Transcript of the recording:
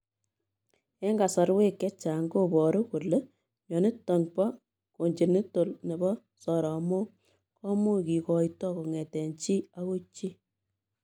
Eng kasarwek chechang koparuu kolee mionitok poo congenital nepoo soromok komuch kigoitoo kongetee chi agoi chii